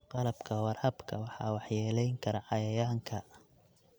Qalabka waraabka waxaa waxyeeleyn kara cayayaanka.